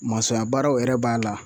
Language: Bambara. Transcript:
Masɔnya baaraw yɛrɛ b'a la